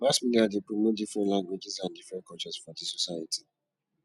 mass media de promote different languages and different cultures for di society